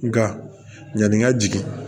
Nka yanni n ka jigin